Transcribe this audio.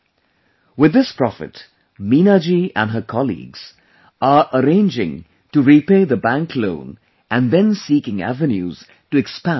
With this profit, Meena ji, and her colleagues, are arranging to repay the bank loan and then seeking avenues to expand their business